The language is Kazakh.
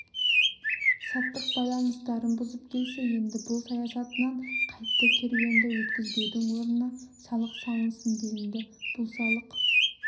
саттық байланыстарын бұзып келсе енді бұл саясатынан қайтты керуенді өткізбеудің орнына салық салынсын делінді бұл салық